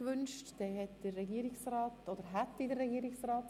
Der Regierungsrat verzichtet auf sein Wort.